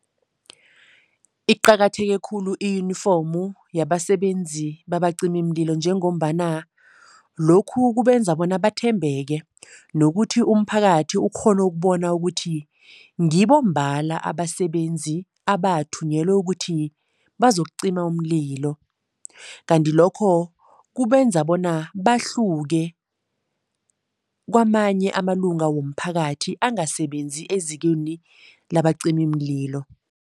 Iqakatheke khulu i-uniform yabasebenzi babacimimlilo njengombana lokhu kubenza bona bathembeke nokuthi umphakathi ukghone ukubona ukuthi ngibo mbala abasebenzi abathunyelwe ukuthi bazokucima umlilo. Kanti lokho kubenza bona bahluke kwamanye amalunga womphakathi angasebenzi ezikweni labacimimlilo.